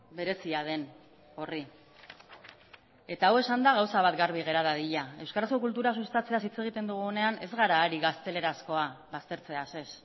berezia den horri eta hau esanda gauza bat garbi gera dadila euskarazko kultura sustatzeaz hitz egiten dugunean ez gara ari gaztelerazkoa baztertzeaz ez